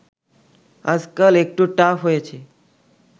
আজকাল একটু টাফ হয়েছে